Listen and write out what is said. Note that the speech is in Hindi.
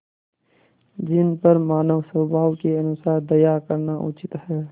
जिन पर मानवस्वभाव के अनुसार दया करना उचित है